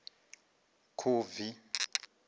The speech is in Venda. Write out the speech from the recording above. khubvi